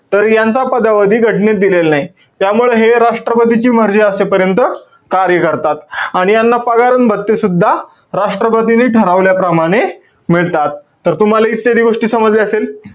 तर यांचा पदावधी घटनेत दिलेल नाही. त्यामुळं हे राष्ट्रपतीची मर्जी असेपर्यंत कार्य करतात. आणि यांना पगार अन भत्तेसुद्धा राष्ट्रपतींनी ठरवल्याप्रमाणे मिळतात. तर तुम्हाला इत्यादी गोष्टी समजल्या असतील.